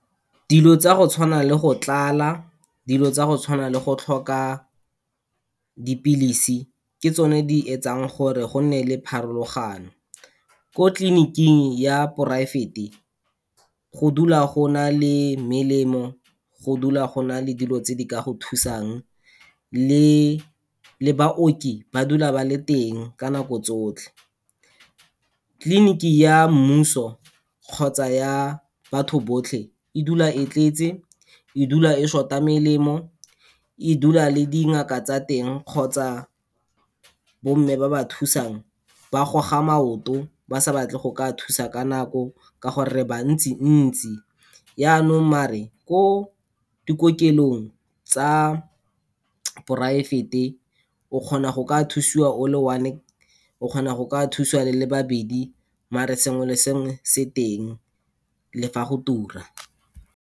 Dilo tsa go tshwana le go tlala, dilo tsa go tshwana le go tlhoka dipilisi, ke tsone di etsang gore go nne le pharologano. Ko clinic-ing ya private-e, go dula go na le melemo, go dula go na le dilo tse di ka go thusang le, le baoki, ba dula ba le teng ka nako tsotlhe. Clinic-e ya mmuso kgotsa ya batho botlhe, e dula e tletse, e dula e short-a melemo, e dula le dingaka tsa teng, kgotsa bomme ba ba thusang, ba goga maoto ba sa batle go ka thusa ka nako, ka gore re ba ntsi-ntsi. Yanong maar-e, ko dikokelong tsa private-e, o kgona go ka thusiwa o le one-e, o kgona go ka thusiwa le le babedi mare sengwe le sengwe se teng le fa go tura.